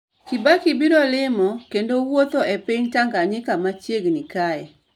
Kibaki biro limo kendo wuotho e piny tanganyika machiegni kae